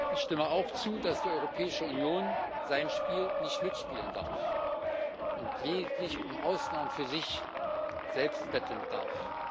Ich stimme auch zu, dass die Europäische Union sein Spiel nicht mitspielen darf und lediglich um Ausnahmen für sich selbst betteln darf.